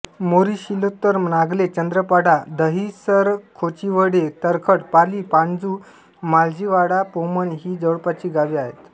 मोरीशिलोत्तर नागले चंद्रपाडा दहिसरखोचिवडे तरखड पाली पाणजू मालजीपाडा पोमण ही जवळपासची गावे आहेत